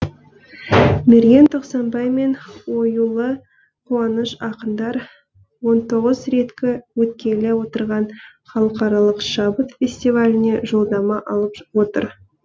мерген тоқсанбай мен оюлы қуаныш ақындар он тоғыз реткі өткелі отырған халықаралық шабыт фестиваліне жолдама алып отыр